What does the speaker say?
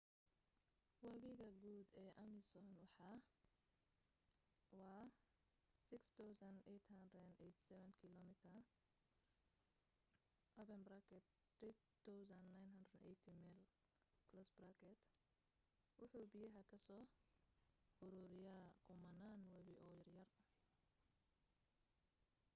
wabiga guud ee amazon waa 6,387 km 3,980 mayl. wuxu biyaha ka soo uruuriyaa kumanaan webi oo yaryar